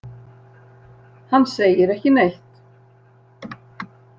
Hann segir ekki neitt.